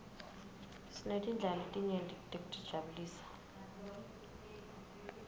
sinetindlela letinyeti tekutijabulisa